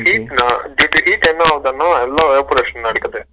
heat ணா heat க்கு என்ன ஆகுதுனா எல்லா evaporation அடிக்குது